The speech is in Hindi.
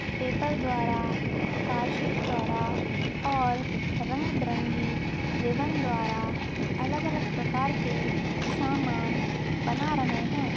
पेपर द्वारा कार्ड शीट द्वारा और रंग बिरंगी रिबन द्वारा अलग-अलग प्रकार के समान बना रहे है।